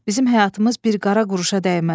Bizim həyatımız bir qara quruşa dəyməz.